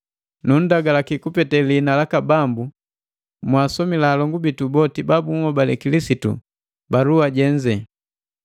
Nundagalaki kupete lihina laka Bambu mwaasomila alongu bitu boti babunhobale Kilisitu balua jenze.